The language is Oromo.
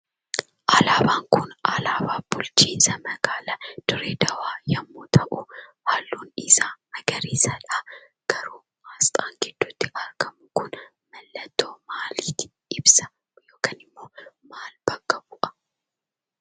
Alaabaan kun alaabaa bulchiinsa magaalaa Dirreedawaa yemmuu ta'uu halluun isaa magariisadhaa. Garuu asxaan gidduutti argamu kun mallattoo maaliiti ibsa yookan immoo maal bakka bu'a?